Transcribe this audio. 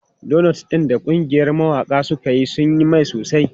Donots ɗin da ƙungiyar mawaƙa suka yi sun yi mai sosai.